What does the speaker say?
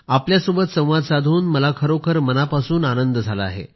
आपल्यासोबत संवाद साधून मला खरोखर मनापासून आनंद झाला आहे